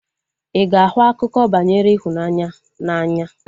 Ị ga-ahụ akụkọ banyere ịhụnanya n'anya?